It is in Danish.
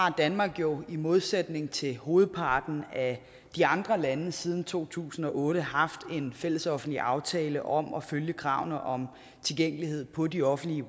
at danmark jo i modsætning til hovedparten af de andre lande siden to tusind og otte har haft en fællesoffentlig aftale om at følge kravene om tilgængelighed på de offentlige